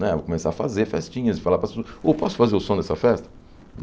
Né vou começar a fazer festinhas e falar para as pessoas, ô, posso fazer o som dessa festa?